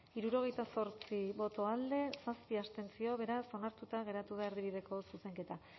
hirurogeita zortzi boto alde zazpi abstentzio beraz onartuta gelditu da erdibideko zuzenketa